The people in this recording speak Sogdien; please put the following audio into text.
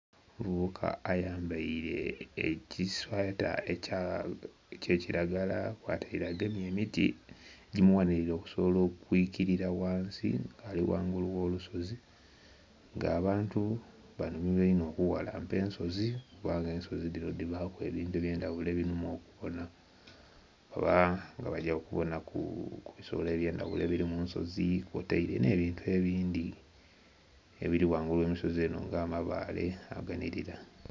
Omuvubuka ayambaire ekisweeta ekya kiragala kwataire agemye emiti ejimughanhirire okusobola okwikirira ghansi nga ali ghangulu ogh'olusozi nga abantu banhumirwa inho okughalampa ensozi kuba nga ensozi dhino dhibaku ebintu ebyendhaghulo ebinhuma okubona, oba nga bagya kubona ku bisolo ebyendhaghulo ebiri munsozi kwotaire n'ebintu ebindhi ebiri ghangulu ogh'ensozi nga amabaale aganirira.